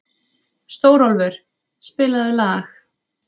Stórólfur, spilaðu lag.